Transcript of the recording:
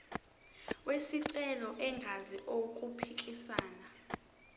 wesicelo engenzi okuphikisana